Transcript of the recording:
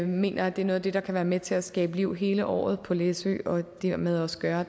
mener at det er noget af det der kan være med til at skabe liv hele året på læsø og dermed også gøre